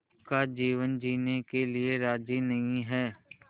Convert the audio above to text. का जीवन जीने के लिए राज़ी नहीं हैं